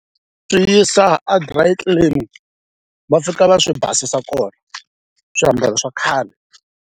Swi yisa a dry clean va fika va swi basisa kona swiambalo swa khale.